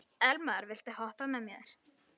Elimar, viltu hoppa með mér?